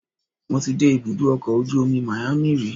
Mo ti dé ibùdó ọkọ̀ ojú omi Miami rí